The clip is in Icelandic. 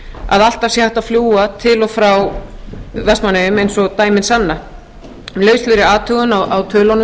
að alltaf sé hægt að fljúga til og frá vestmannaeyjum eins og dæmin sanna með lauslegri athugun á tölunum